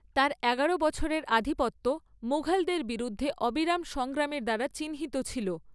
তার এগারো বছরের আধিপত্য মুঘলদের বিরুদ্ধে অবিরাম সংগ্রামের দ্বারা চিহ্নিত ছিল।